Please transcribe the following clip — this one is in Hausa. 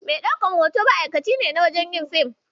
Mai ɗaukan hoto ma'akaci ne wajen yin fim.